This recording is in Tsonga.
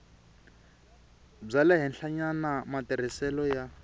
bya le henhlanyana matirhiselo ya